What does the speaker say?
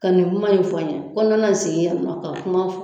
Ka nin kuma in fɔ n ye ko nana sigi yan ka kuma fɔ.